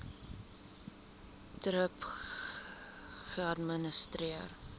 thrip geadministreer